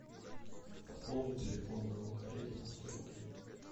пополни телефон моего коллеги на сто рублей